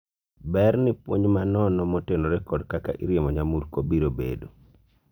ber ni puonj ma nono motenore kod kaka iriembo nyamburko biro bedo